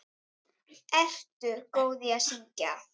Ertu góð í að syngja?